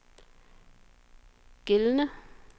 gældende